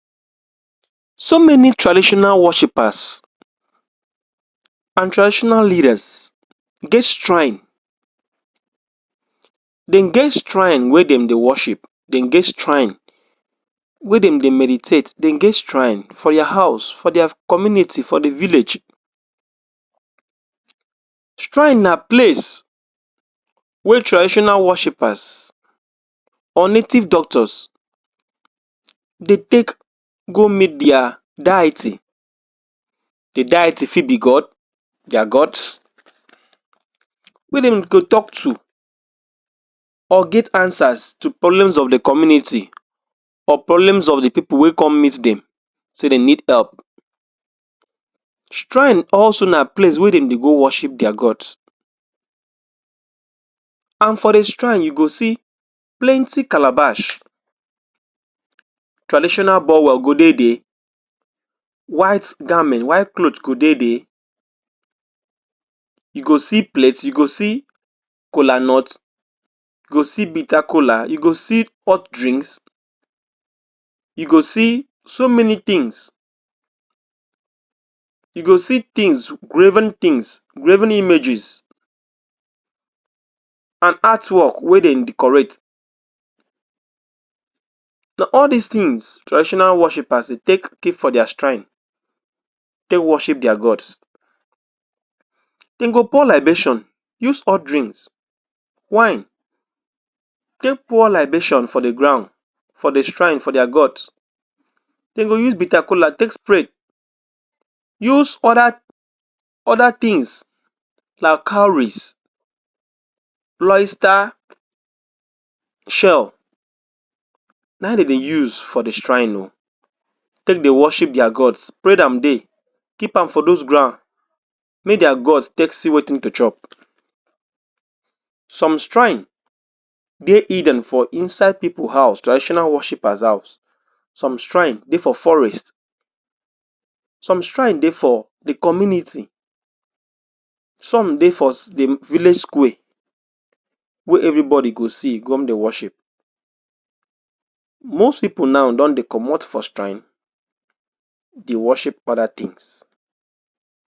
So many traditional worshippers and traditional leaders get shrine. Dem get shrine wey dem dey worship, dem get shrine dem get shrine for their house, for their community, for the village. Shrine na place wey traditional worshippers or native doctors dey take go meet their deity. The deity fit be god, their gods wey dem go talk to or get answers to problems of the community or problems of the people wey come meet dem dey need help. Shrine also na place where dem dey go worship their gods and for the shrine you go see plenty calabash. Traditional bowel go dey there. White garment, white cloth go dey there. You go see plate, you go see kolanut, you go see bitterkola, you go see hot drinks, you go see so many things. You go see things, graven things, graven images and artwork wey dem decorate. So all dis things traditional worshippers dey take keep for their shrine, take worship their gods. Dem go pour libation use hot drinks, wine take pour libation for the ground, for the shrine, for their gods. Dem go use bitterkola take spray, use other other things like cowries, loister shell na im dem dey use for the shrine oo take dey worship their gods spread am there, keep am for those ground make their gods take see wetin to chop. Some shrine dey hidden for inside people house, traditional worshippers house. Some shrine dey for forest, some shrine dey for the community, some dey for? the village square wey everybody go see come dey worship. Most people now don dey comot for shrine dey worship other things.